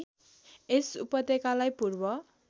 यस उपत्यकालाई पूर्व